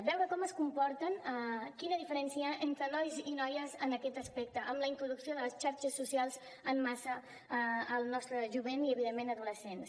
veure com es comporten quina diferència hi ha entre nois i noies en aquest aspecte amb la introducció de les xarxes socials en massa al nostre jovent i evidentment adolescents